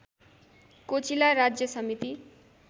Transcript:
cochlea राज्य समिति